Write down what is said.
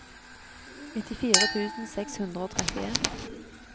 nittifire tusen seks hundre og trettien